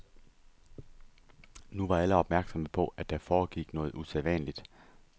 Nu var alle opmærksomme på, at der foregik noget usædvanligt.